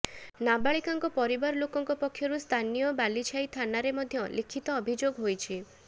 ନାବାଳିକାଙ୍କ ପରିବାର ଲୋକଙ୍କ ପକ୍ଷରୁ ସ୍ଥାନୀୟ ବାଲିଛାଇ ଥାନାରେ ମଧ୍ୟ ଲିଖିତ ଅଭିଯୋଗ ହୋଇଛି